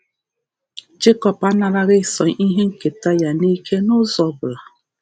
Jekọb anaraghị Ịsọ ihe nketa ya n’ike n’ụzọ ọbụla.